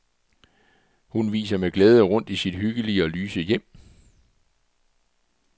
Hun viser med glæde rundt i sit hyggelige og lyse hjem.